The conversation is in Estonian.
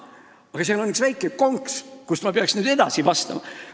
Aga seal on üks väike konks, millest ma peaksin nüüd rääkima.